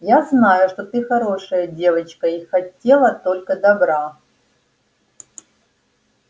я знаю что ты хорошая девочка и хотела только добра